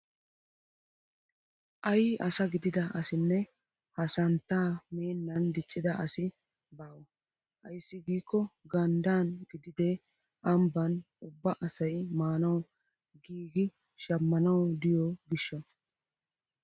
Ayi asa gidida asinne haa santtaa meennan diccida asi baawa! ayssi giikko ganddaani gidide ambbaan ubba asay maanawu giigi shammanawu diyoo giishshawu!